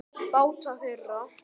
Báta þeirra